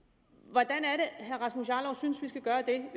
hvordan herre rasmus jarlov synes vi skal gøre det